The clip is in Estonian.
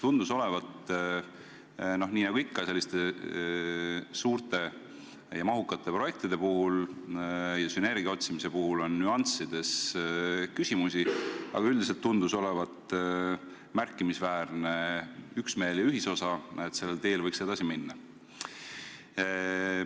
Nagu ikka suurte ja mahukate projektide puhul ja sünergia otsimise puhul on nüanssides küsimusi, aga üldiselt tundus komisjonis olevat märkimisväärne üksmeel, et sellel teel võiks edasi minna.